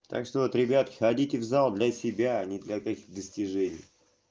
так что вот ребятки ходите в зал для себя а не для тех достижений